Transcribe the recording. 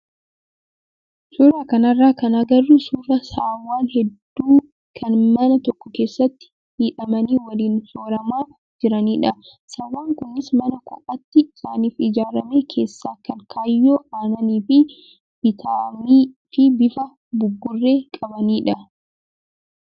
Suuraa kanarraa kan agarru suuraa saawwan hedduu kan mana tokko keessatti hidhamanii waliin sooramaa jiranidha. Saawwan kunis mana kophaatti isaaniif ijaarame keessa kan kaayyoo aannaniif bitamii fi bifa buburree qabanidha.